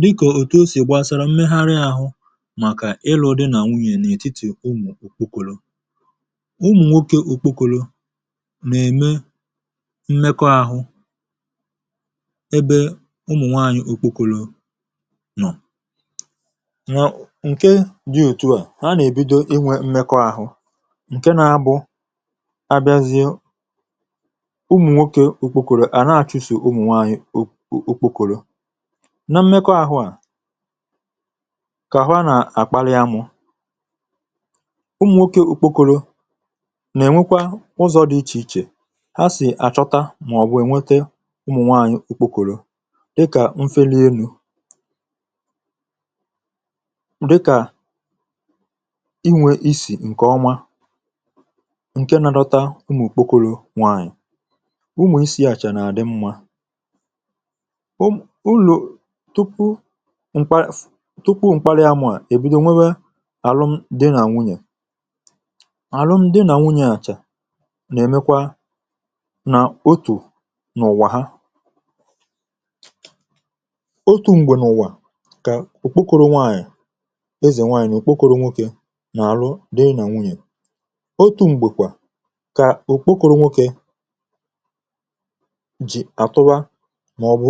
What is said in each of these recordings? Dịkà òtù o sì gbasara mmegharị àhụ màkà ịlụ̇ dị nà nwunyè n’ètitì ụmụ̀ nwokė okpokolo. ụmụ̀ nwokė okpokolo mà ème mmekọ àhụ ebe ụmụ̀ nwaanyị̀ okpokolo nọ̀. nwè ǹke dị òtu à, ha nà èbido inwė mmekọ àhụ, ǹke na bụ abịazịụ ụmụ̀ nwokė okpokoro à na achụ̀sụ̀ ụmụ̀ nwaanyị̀ ọ ọ okpokoro. na mmekọ àhụ kà ha nà àkpala ya mụ̇ ụmụ̀nwokė ukpokoro nà-ènwekwa ụzọ̇ dị̇ ichè ichè ha sì àchọta, màọ̀bụ̀ ènwete ụmụ̀nwaanyị̀ ukpokoro dịkà mfe n’enu̇, dịkà inwė isì ǹkè ọma ǹke na-adọta ụmụ̀ kpokoro nwaanyị̀, ụmụ̀ isi̇ àchà nà-àdị mmȧ. tupu mkpàri amà, èbido nwėwė alụm dị nà nwunyè, alụm dị nà nwunyè àchà nà-èmekwa nà otù n’ụ̀wà ha. otù m̀gbè n’ụ̀wa kà òkpokoro nwaànyị̀ ezè nwaànyị̀ òkpokoro nwokė nà-àrụ dị nà nwunyè, otù m̀gbèkwà kà òkpokoro nwokė jì àtụwa maọbụ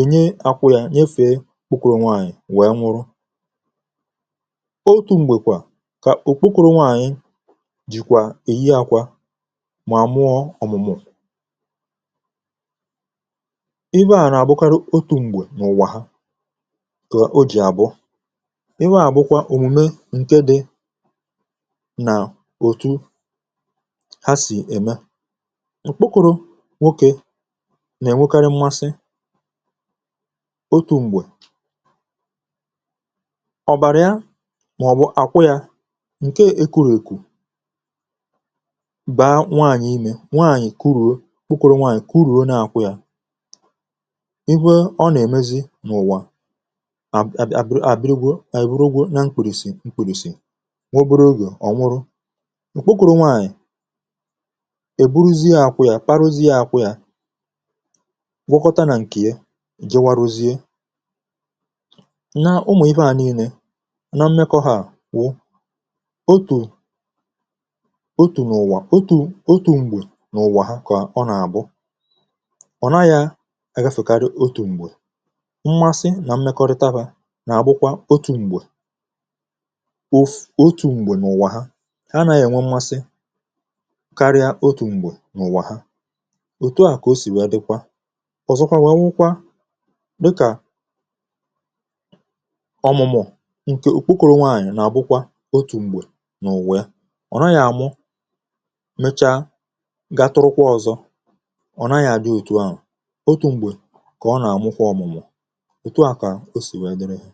enye akwà ya nyefe ọkpụkụrụ nwaànyị̀ wèe nwụrụ. otu̇ m̀gbè kwà kà òkpukwu̇rụ nwaànyị̀ jìkwà èhi àkwà, mà mụọ ọ̀mụ̀mụ̀. ibe à nà-àbụkarụ otu̇ m̀gbè n’ụ̀wà ha kà o jì àbụ, iwe à bụkwa òmùme ǹke dị nà òtù ha sì ème. Ọkpụkụrụ nwokė nà-ènwékàrị mmasị ọtu mgbe, ọ̀ bàrịa màọ̀bụ̀ àkwụ yȧ ǹke èkuru̇ èkù baa nwaànyị̀ imè nwaànyị̀ kuruo nwụrụ nwaànyị̀ kuruo na-àkwụ yȧ, iwe ọ nà-èmezi n’ụ̀wà àbì àbịrịgwu èburuogwu na mkpùrìsì mkpùrìsì nwaoburu ogè ọ̀ nwụrụ. òkpokoro nwaànyị̀ èburuzie àkwụ yȧ kparaozie àkwụ yȧ gwọkọta nà ǹkè ye gawarụzie. n’ụmụ̀ ibe à niilė nà mmekọ̇ hȧ wụ otù otù n’ụ̀wà, otù, otù m̀gbè n’ụ̀wà ha kà ọ nà-àbụ ọ̀ na-ayȧ agȧfèkarị otù m̀gbè, mmasị nà mmekọrịta bụ̇ nà-àbụkwa otù m̀gbè otù m̀gbè n’ụ̀wà ha ha nà-ènwe mmasị karịa otù m̀gbè n’ụ̀wà ha, òtu à kà o sì wee dịkwa. ọ̀zọkwa wee wụkwa dịkà ọmụmụ̀ ǹkè òkpokòru nwaànyị̀ nà ọbụkwa otù m̀gbè nà òwee ọ̀ naghị̀ àmụ mechaa ga tụrụkwà ọzọ, ọ̀ naghị̀ àdị òtù ahụ̀, otù m̀gbè kà ọ nà-àmụkwa ọmụmụ̀ òtù a kà o sì wee dịrịghị.